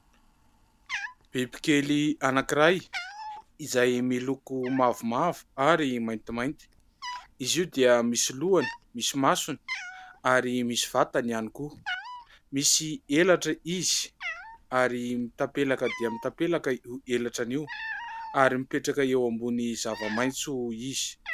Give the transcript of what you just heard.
Bbikely anankiray, izay miloko mavomavo ary maintimainty. Izy io dia misy lohany, misy masony ary misy vatany ihany koa. Misy elatra izy ary mitapelaka dia mitapelaka io elatrany io ary mipetraka eo ambony zavamaitso izy.